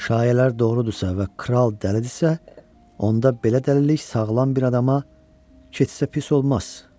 Şayələr doğrudursa və kral dəlidirsə, onda belə dəlilik sağlam bir adama keçsə pis olmaz.